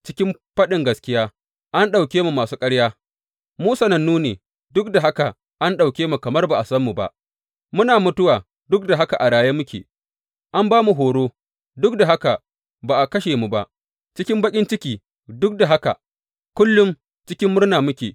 Cikin faɗin gaskiya, an ɗauke mu masu ƙarya, mu sanannu ne, duk da haka an ɗauke mu kamar ba a san mu ba, muna mutuwa, duk da haka a raye muke, an ba mu horo, duk da haka ba a kashe mu ba, cikin baƙin ciki, duk da haka kullum cikin murna muke.